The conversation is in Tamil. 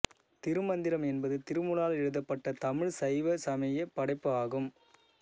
திருமந்திரம் என்பது திருமூலரால் எழுதப்பட்ட தமிழ் சைவசமயப் படைப்பு ஆகும்